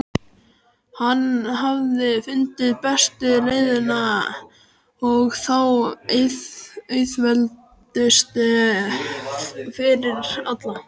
Hann hafði fundið bestu leiðina og þá auðveldustu fyrir alla.